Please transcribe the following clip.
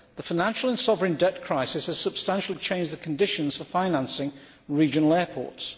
The financial and sovereign debt crisis has substantially changed the conditions for financing regional airports.